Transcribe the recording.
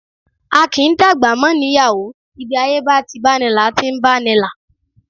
A kì í’dàgbà má ní ìyàwó, ibi ayé bá ti báni la ti báni la